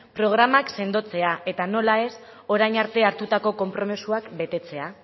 programak sendotzea eta nola ez orain arte hartutako konpromisoak betetzea